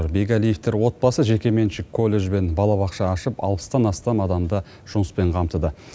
бегалиевтер отбасы жеке меншік колледж бен балабақша ашып алпыстан астам адамды жұмыспен қамтыды